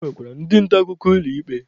E nwekwara ndị nta akụkọ ụlọ ikpe.